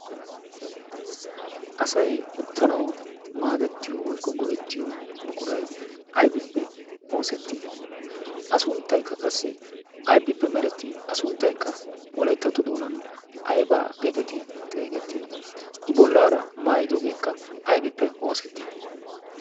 asai uttanawu maadettiyo woykko go'ettiyo buquray aybippe oosettii a sunttaykka qassi aybippe meretii a sunttaykka wolayttato doonan aybaa geeteti xeegettii i bollaara maayidoogeekka aybippe oosettii